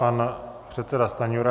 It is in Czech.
Pan předseda Stanjura.